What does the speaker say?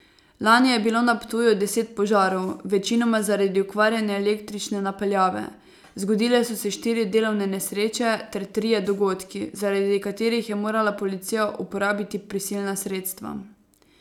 Lani je bilo na Ptuju deset požarov, večinoma zaradi okvarjene električne napeljave, zgodile so se štiri delovne nesreče ter trije dogodki, zaradi katerih je morala policija uporabiti prisilna sredstva.